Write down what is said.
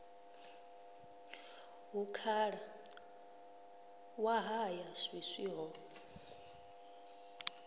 hu khalaṅwaha ya swiswi ho